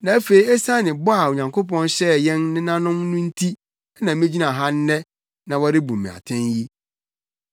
Na afei esiane bɔ a Onyankopɔn hyɛɛ yɛn nenanom no nti na migyina ha nnɛ na wɔrebu me atɛn yi.